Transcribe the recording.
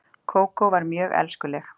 Kókó var mjög elskuleg.